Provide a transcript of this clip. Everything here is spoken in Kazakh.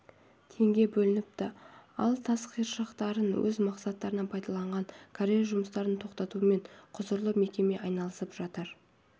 теңге бөлініпті ал тас қиыршықтарын өз мақсаттарына пайдаланған карьер жұмыстарын тоқтатумен құзырлы мекеме айналысып жатыр